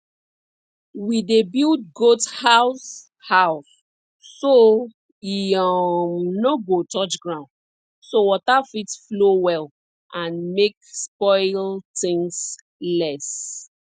we dey build goat house house so e um no go touch ground so water fit flow well and make spoil things less